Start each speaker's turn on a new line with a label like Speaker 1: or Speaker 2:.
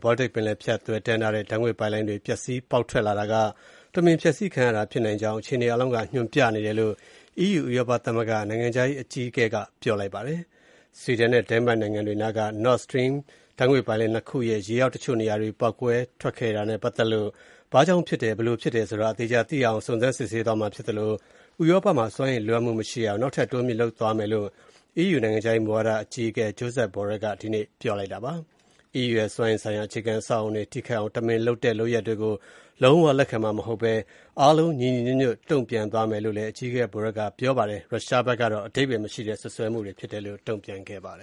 Speaker 1: Baltic ပင်လယ်ကိုဖြတ်ပြီး ဥရောပကိုသွယ်တန်းထားတဲ့ ဓါတ်ငွေ့ပိုက်လိုင်းတွေ ပျက်စီးပေါက်ထွက်နေတာဟာ တမင်ဖျက်ဆီးခံရတာဖြစ်နိုင်ကြောင်း အခြေအနေအားလုံးက ညွှန်ပြနေတယ်လို့ EU အကြီးအကဲကပြောကြားလိုက်ပါတယ်။ Sweden နဲ့ Denmark နိုင်ငံတွေနားက Nord Stream ဓါတ်ငွေ့ပိုက်လိုင်း ၂ ခုရဲ့ ရေအောက် တချို့နေရာတွေ ပေါက်ကွဲခဲ့တာနဲ့ပတ်သက်လို့ ဘာကြောင့်ဖြစ်တယ်၊ ဘယ်လိုဖြစ်တယ်ဆိုတာ အသေအချာသိရအောင် စုံစမ်းစစ်ဆေးသွားမှာဖြစ် သလို ဥရောပမှာ စွမ်းအင်လိုအပ်မှုမရှိအောင် နောက်ထပ်တိုးမြှင့်လုပ်သွားမယ်လို့ EU နိုင်ငံခြားမူဝါဒရေးရာအကြီးအကဲ Josep Borrell က ဒီနေ့ပြောကြားလိုက်ပါတယ်။ EU ရဲ့ စွမ်းအင်ဆိုင်ရာ အခြေခံအဆောက်အအုံတွေ ထိခိုက်အောင် တမင်လုပ်တဲ့ လုပ်ရပ်တွေကို လုံးဝ လက်ခံမှာမဟုတ်ဘဲ အားလုံး ညီညီညွတ်ညွတ် တုံ့ပြန် သွားမယ်လို့ အကြီးအကဲ Borrell ကပြောပါတယ်။ ရုရှားဘက်ကတော့ အဓိပ္ပါယ်မရှိတဲ့ စွပ်စွဲမှုတွေ
Speaker 2: ဖြစ်တယ်လို့ တုံ့ပြန်ပါတ